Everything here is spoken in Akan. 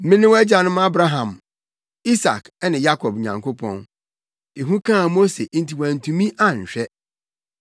‘Mene wo agyanom Abraham, Isak ne Yakob Nyankopɔn.’ Ehu kaa Mose nti wantumi anhwɛ.